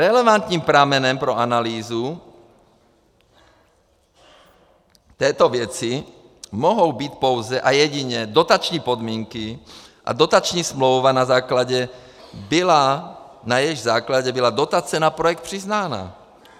Relevantním pramenem pro analýzu této věci mohou být pouze a jedině dotační podmínky a dotační smlouva, na jejichž základě byla dotace na projekt přiznána.